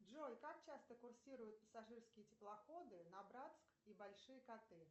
джой как часто курсируют пассажирские теплоходы на братск и большие коты